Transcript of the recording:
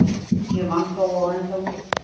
Ég vann þó á endanum.